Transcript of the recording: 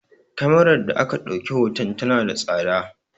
Kemarar da aka ɗauki hoton tana da tsada